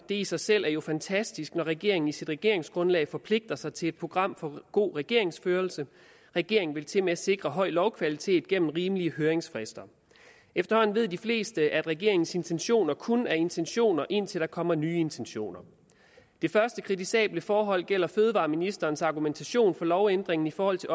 det i sig selv er jo fantastisk når regeringen i sit regeringsgrundlag forpligter sig til et program for god regeringsførelse regeringen vil tilmed sikre høj lovkvalitet gennem rimelige høringsfrister efterhånden ved de fleste at regeringens intentioner kun er intentioner indtil der kommer nye intentioner det første kritisable forhold gælder fødevareministerens argumentation for lovændringen i forhold til